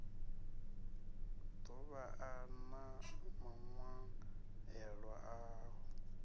ḓo vhan a maṅwaelo aho